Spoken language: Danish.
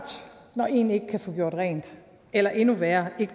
når en ikke kan få gjort rent eller endnu værre